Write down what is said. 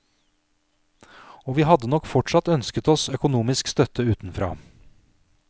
Og vi hadde nok fortsatt ønsket oss økonomisk støtte utenfra.